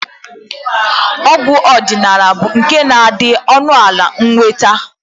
Ọgwụ ọdịnala bụ nke na-adị ọnụala nnweta